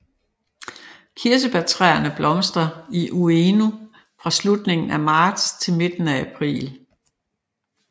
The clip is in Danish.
Kirsebærtræerne blomstrer i Ueno fra slutningen af marts til midten af april